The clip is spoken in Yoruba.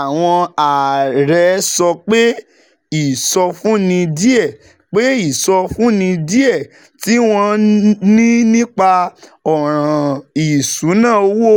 Àwọn ààrẹ sọ pé ìsọfúnni díẹ̀ pé ìsọfúnni díẹ̀ tí wọ́n ní nípa ọ̀ràn ìṣúnná owó